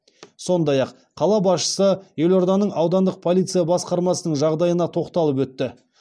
сондай ақ қала басшысы елорданың аудандық полиция басқармасының жағдайына тоқталып өтті